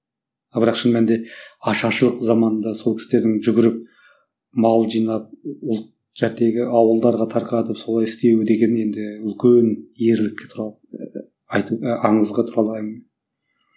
ал бірақ шын мәнінде ашаршылық заманында сол кісілердің жүгіріп мал жинап ұлт ауылдарға тарқатып солай істеу деген енді үлкен ерлік туралы айтып аңызға